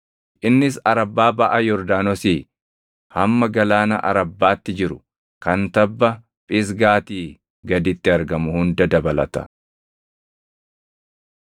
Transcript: innis Arabbaa baʼa Yordaanosii hamma galaana Arabbaatti jiru kan tabba Phisgaatii gaditti argamu hunda dabalata.